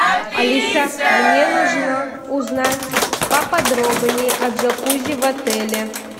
алиса мне нужно узнать поподробнее о джакузи в отеле